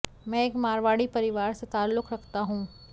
मैं एक मारवाणी परिवार से ताल्लुक रखता हूं